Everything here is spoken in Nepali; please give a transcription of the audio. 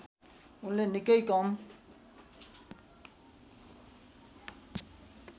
उनले निकै कम